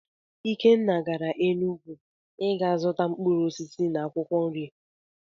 Ikenna gara Enugwu i ga zụta mkpụrụ osisi na akwụkwọ nri.